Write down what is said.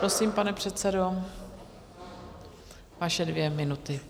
Prosím, pane předsedo, vaše dvě minuty.